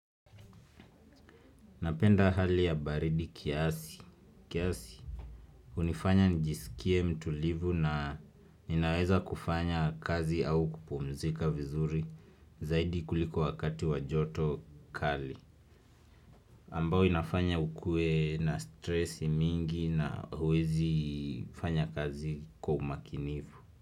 Napenda hali ya baridi kiasi hunifanya nijiskie mtulivu na ninaweza kufanya kazi au kupumzika vizuri. Zaidi kuliko wakati wa joto kali ambao inafanya ukue na stress mingi na huwezi fanya kazi kwa umakinifu.